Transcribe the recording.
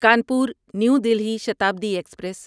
Kanpur New Delhi Shatabdi express